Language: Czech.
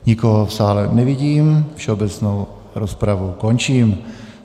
Nikoho v sále nevidím, všeobecnou rozpravu končím.